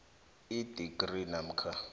idigri namkha